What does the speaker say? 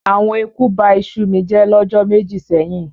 Awon eku ba àbà iṣu mi jẹ́ lọ́jọ́ méjì sẹ́yìn.